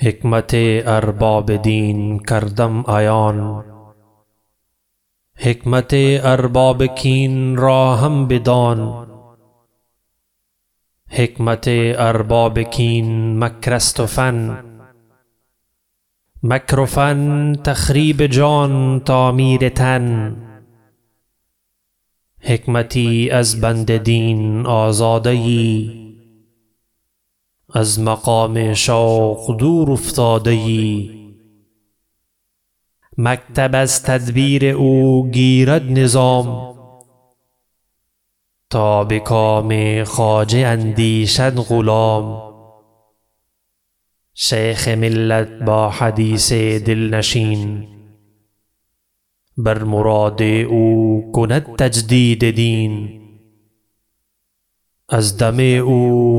حکمت ارباب دین کردم عیان حکمت ارباب کین را هم بدان حکمت ارباب کین مکر است و فن مکر و فن تخریب جان تعمیر تن حکمتی از بند دین آزاده یی از مقام شوق دور افتاده یی مکتب از تدبیر او گیرد نظام تا بکام خواجه اندیشد غلام شیخ ملت با حدیث دلنشین بر مراد او کند تجدید دین از دم او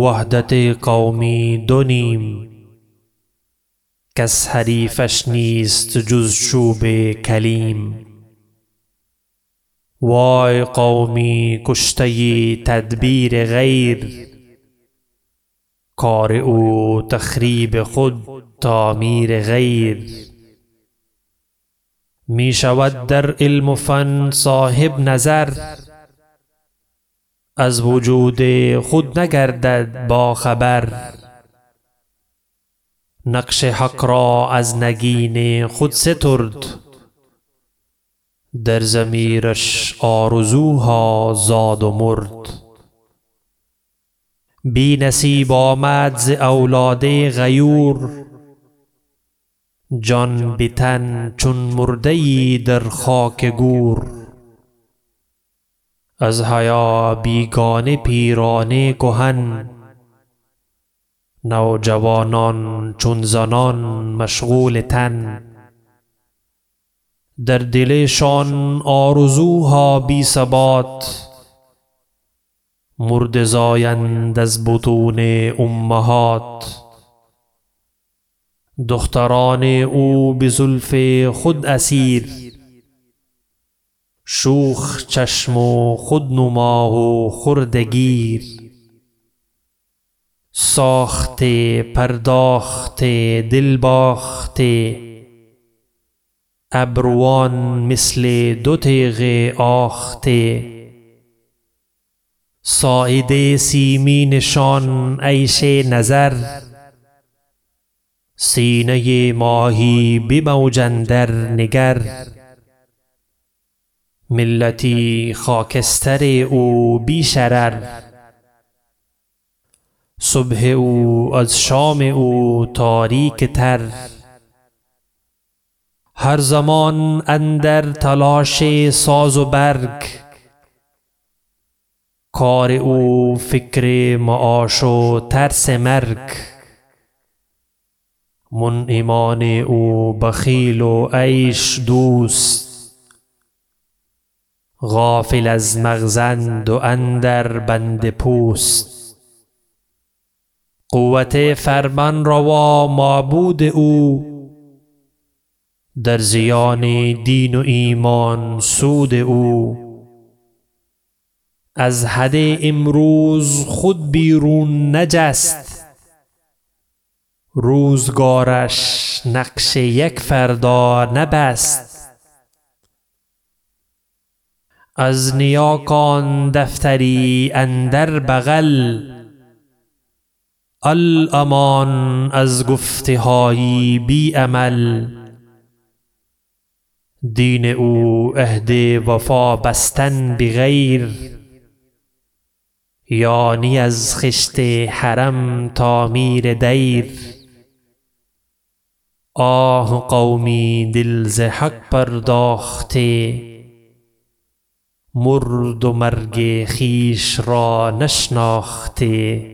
وحدت قومی دو نیم کس حریفش نیست جز چوب کلیم وای قومی کشته تدبیر غیر کار او تخریب خود تعمیر غیر می شود در علم و فن صاحب نظر از وجود خود نگردد با خبر نقش حق را از نگین خود سترد در ضمیرش آرزوها زاد و مرد بی نصیب آمد ز اولاد غیور جان بتن چون مرده یی در خاک گور از حیا بیگانه پیران کهن نوجوانان چون زنان مشغول تن در دل شان آرزوها بی ثبات مرده زایند از بطون امهات دختران او بزلف خود اسیر شوخ چشم و خود نما و خرده گیر ساخته پرداخته دل باخته ابروان مثل دو تیغ آخته ساعد سیمین شان عیش نظر سینه ماهی بموج اندر نگر ملتی خاکستر او بی شرر صبح او از شام او تاریکتر هر زمان اندر تلاش ساز و برگ کار او فکر معاش و ترس مرگ منعمان او بخیل و عیش دوست غافل از مغزاند و اندر بند پوست قوت فرمانروا معبود او در زیان دین و ایمان سود او از حد امروز خود بیرون نجست روزگارش نقش یک فردا نبست از نیاکان دفتری اندر بغل الامان از گفته های بی عمل دین او عهد وفا بستن بغیر یعنی از خشت حرم تعمیر دیر آه قومی دل ز حق پرداخته مرد و مرگ خویش را نشناخته